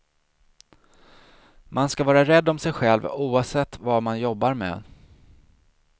Man ska vara rädd om sig själv, oavsett vad man jobbar med.